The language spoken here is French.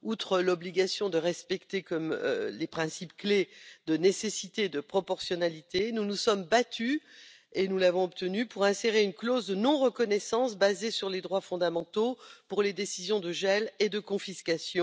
Outre l'obligation de respecter les principes clés de nécessité et de proportionnalité, nous nous sommes battus avec succès pour insérer une clause de non reconnaissance basée sur les droits fondamentaux pour les décisions de gel et de confiscation.